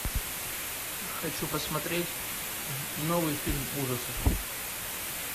хочу посмотреть новый фильм ужасов